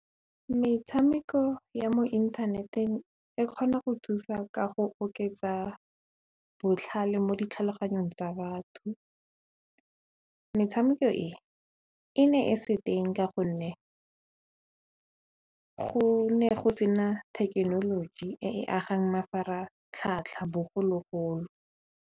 Metshameko ya mo inthaneteng e kgona go thusa ka go oketsa botlhale mo ditlhaloganyong tsa batho, metshameko e e ne e se teng ka gonne go ne go se na thekenoloji e agang mafaratlhatlha bogologolo.